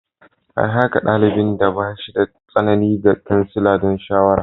An aika dalibin da ba shi da tsanani ga kansila don shawara.